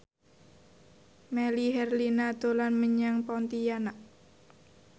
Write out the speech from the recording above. Melly Herlina dolan menyang Pontianak